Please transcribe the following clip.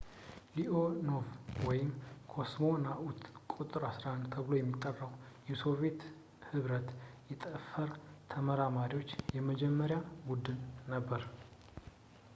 ሊኦኖቭ ወይም «ኮስሞናኡት ቁ.11» ተብሎ የሚጠራው የሶቪዬት ኅብረት የጠፈር ተመራማሪዎች የመጀመሪያ ቡድን ነበር